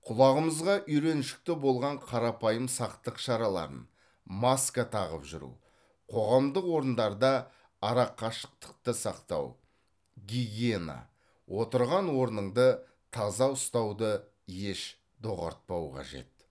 құлағымызға үйреншікті болған қарапайым сақтық шараларын маска тағып жүру қоғамдық орындарда арақашықтықты сақтау гигиена отырған орныңды таза ұстауды еш доғартпау қажет